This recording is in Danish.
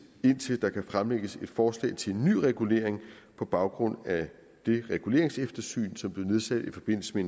indtil der kan fremlægges et forslag til en ny regulering på baggrund af det reguleringseftersyn som blev vedtaget i forbindelse med